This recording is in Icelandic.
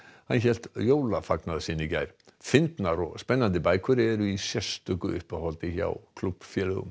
hélt sinn í gær fyndnar og spennandi bækur eru í sérstöku uppáhaldi hjá klúbbnum